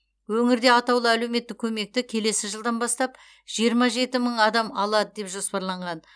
өңірде атаулы әлеуметтік көмекті келесі жылдан бастап жиырма жеті мың адам алады деп жоспарланған